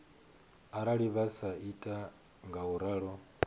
arali vha sa ita ngauralo